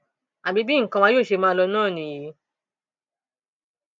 àbí bí nǹkan wa yóò ṣe máa lọ náà nìyí ni